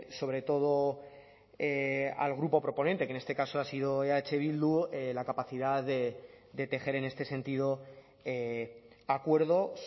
sobre todo al grupo proponente que en este caso ha sido eh bildu la capacidad de tejer en este sentido acuerdos